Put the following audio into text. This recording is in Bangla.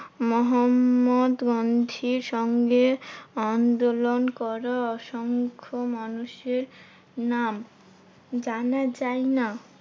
মহাত্মা গান্ধীর সঙ্গে আন্দোলন করা অসংখ মানুষের নাম জানা যায়না।